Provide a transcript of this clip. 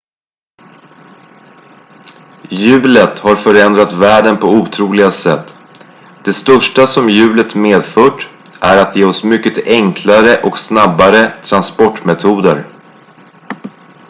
hjulet har förändrat världen på otroliga sätt det största som hjulet medfört är att ge oss mycket enklare och snabbare transportmetoder